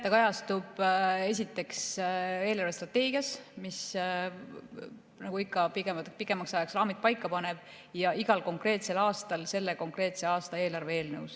Ta kajastub esiteks eelarvestrateegias, mis nagu ikka pikemaks ajaks raamid paika paneb, ja igal konkreetsel aastal selle konkreetse aasta eelarve eelnõus.